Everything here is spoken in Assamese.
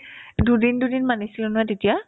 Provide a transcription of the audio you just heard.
দুদিন দুদিন মানিছিলা ন তেতিয়া